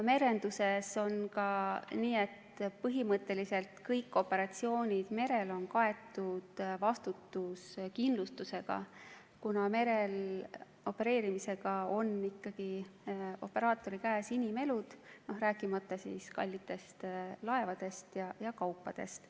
Merenduses on nii, et põhimõtteliselt kõik operatsioonid merel on kaetud vastutuskindlustusega, kuna merel opereerimisel on operaatori käes ikkagi inimelud, rääkimata kallitest laevadest ja kaupadest.